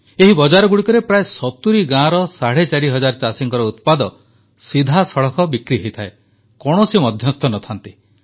ଏହି ବଜାରଗୁଡ଼ିକରେ ପ୍ରାୟ 70 ଗାଁର ସାଢ଼େ ଚାରି ହଜାର ଚାଷୀଙ୍କ ଉତ୍ପାଦ ସିଧାସଳଖ ବିକ୍ରି ହୋଇଥାଏ କୌଣସି ମଧ୍ୟସ୍ଥ ନଥାନ୍ତି